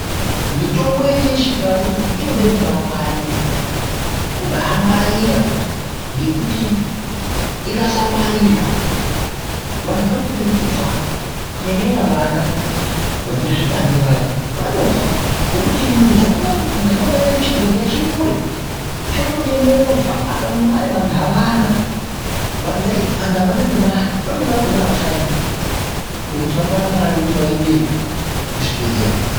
Mutombo yedu yechindau iyi inobada kungwarira, kubangwarira ngekuti ikasangwarirwa vantu vanopera kufa kunyanya nyanya vana vanezvipande vaya vanofa. Ngekuti muntaraunda medu chibhedhleya chirikure. Chinotoda movha apa nemare vantu aana, vantu avana nemare amweni akona aashandi zvokuti angawana mare yekuti aendeyo kuzvibhedhleya